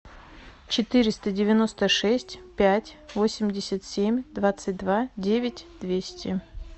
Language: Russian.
четыреста девяносто шесть пять восемьдесят семь двадцать два девять двести